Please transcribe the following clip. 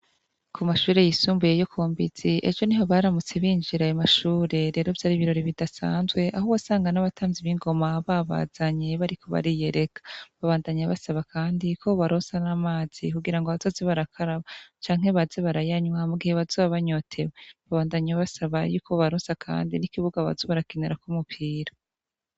Kumashuri yisumbuye yokumbitsi ejo niho baramutse binjira ayo mashuri rero vyari ibirori bidasanzwe aho wasanga abatamvyi b'ingoma babazanye bariko bariyereka babandanya basaba kandi ko bobaronsa n'amazi kugira bazoze barakaraba canke baze barayanywa mugihe bazoba banyotewe, babandanya basaba yuko bobaransa kandi n'ikibuga boza barakinirako umupira.